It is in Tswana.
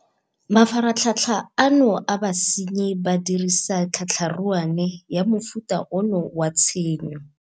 Mafaratlhatlha ano a basenyi ba dirisa tlhatlha ruane ya mofuta ono wa tshenyo.